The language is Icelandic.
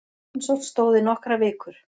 Rannsókn stóð í nokkrar vikur